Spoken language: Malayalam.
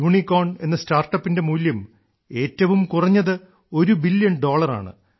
യൂണിക്കോൺ എന്ന സ്റ്റാർട്ടപ്പിന്റെ മൂല്യം ഏറ്റവും കുറഞ്ഞത് ഒരു ബില്യൺ ഡോളറാണ്